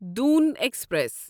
Doon express